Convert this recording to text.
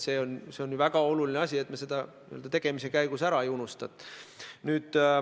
See on väga oluline, et me seda tegemise käigus ära ei unustanud.